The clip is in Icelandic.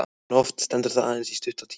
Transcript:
En oft stendur það aðeins í stuttan tíma.